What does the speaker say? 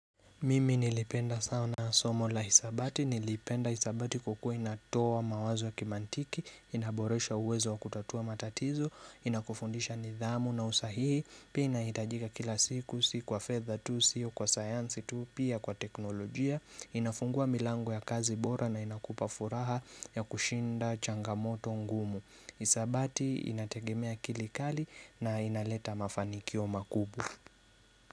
Mimi nilipenda sana somo la hisabati, nilipenda hisabati kwakuwa inatoa mawazo ya kimantiki, inaboresha uwezo wa kutatua matatizo, inakufundisha nidhamu na usahihi, pia inaitajika kila siku, si kwa fedha tu, si kwa science tu, pia kwa teknolojia, inafungua milangu ya kazi bora na inakupafuraha ya kushinda changamoto ngumu. Isabati inategemea akili kali na inaleta mafanikio makubwa.